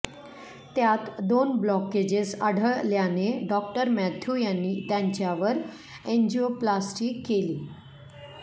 त्यात दोन ब्लॉकेजेस आढळळ्याने डॉ मॅथ्यू यांनी त्यांच्यावर एन्जिओप्लास्टी केली